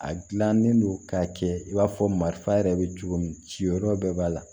A gilannen don k'a kɛ i b'a fɔ marifa yɛrɛ bɛ cogo min ciyɔrɔ bɛɛ b'a la